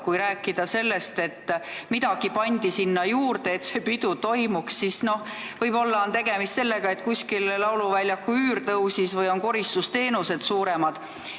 Kui te räägite, et mingid summad pandi juurde, et see pidu toimuks, siis võib-olla on tegemist sellega, et lauluväljaku üür tõusis või on koristusteenused kallimad.